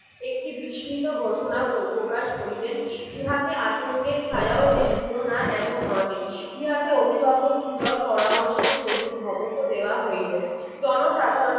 একটি বিস্মিত ঘোষণা প্রকাশ করিলেন ইহাতে আতংকে ছায়াও যে ছিল না এমন নহে ইহাতে অভিভাবক সুলভ পরামর্শের শহীদ ভবোজ্ঞ দেওয়া হইলো জন সাধারণে